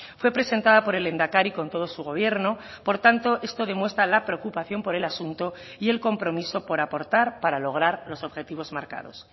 fue presentada por el lehendakari con todo su gobierno por tanto esto demuestra la preocupación por el asunto y el compromiso por aportar para lograr los objetivos marcados